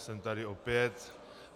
Jsem tady opět.